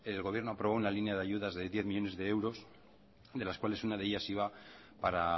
el gobierno aprobó una línea de ayudas de diez millónes de euros de las cuales una de ellas iba para